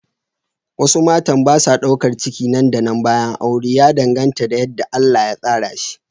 Wasu matan ba sa daukar ciki nan da nan bayan aure, ya danganta da yadda Allah ya tsara shi.